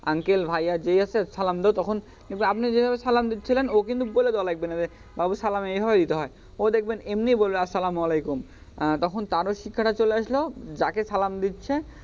uncle ভাইয়া যেই আছে সালাম দাও তখন কিন্তু আপনি যেভাবে সালাম দিয়েছিলেন ও কিন্তু বইলে দেওয়া লাগবেনা যে বাবু সালাম এইভাবে দিতে হয় ও দেখবেন এমনি বলবে আসলাম আলাইকুম তখন তার ও শিক্ষা টা চলে আসলো যাকে সালাম দিচ্ছে,